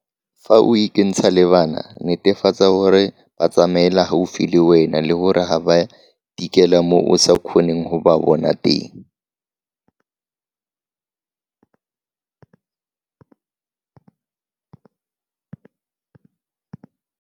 Fa o ikentsha le bana, netefatsa gore ba tsamaela gaufi le wena le gore ga ba tikele mo o sa kgoneng go ba bona teng.